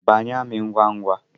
Banye amị ngwa ngwa!